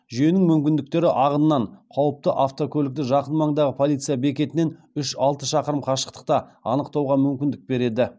жүйенің мүмкіндіктері ағыннан қауіпті автокөлікті жақын маңдағы полиция бекетінен үш алты шақырым қашықтықта анықтауға мүмкіндік береді